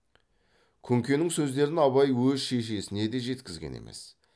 күнкенің сөздерін абай өз шешесіне де жеткізген емес